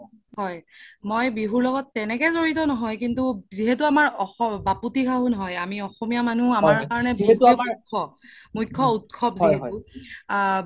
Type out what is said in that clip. হয় মই বিহুৰ লগত তেনেকে জৰিত নহয় কিন্তু যিহেতু আমাৰ বাপতি খাহুন হয় আমি অসমীয়া মানুহ মুখ্য উত্‍সৱ যিহেতু আ